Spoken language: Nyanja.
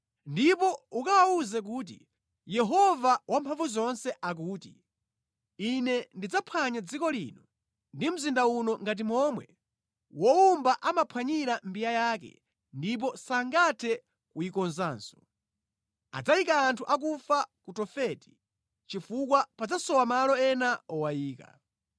ndipo ukawawuze kuti, ‘Yehova Wamphamvuzonse akuti, Ine ndidzaphwanya dziko lino ndi mzinda uno ngati momwe wowumba amaphwanyira mbiya yake ndipo sangathe kuyikonzanso. Adzayika anthu akufa ku Tofeti chifukwa padzasowa malo ena owayika.